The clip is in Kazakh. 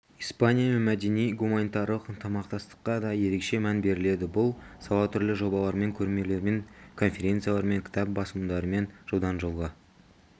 испаниямен мәдени-гуманитарлық ынтымақтастыққа да ерекше мән беріледі бұл сала түрлі жобалармен көрмелермен конференциялармен кітап басылымдарымен жылдан-жылға